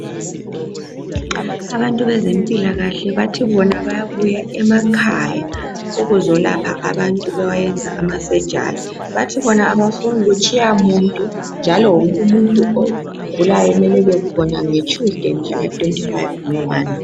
Abantu bezempilakahle bathi bona bayabuya emakhaya ukuzolapha abantu bewayenza amasejari. Bathi bona abafuni kutshiya muntu, njalo wonk' umuntu ogulayo mele' ebekhona ngeTshuzideyi mhlaka 25 ngo 1.